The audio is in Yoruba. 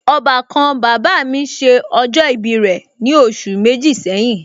Ọbàkan bàbá mi ṣe ọjọ ibi rẹ̀ ní oṣù méjì sẹ́yìn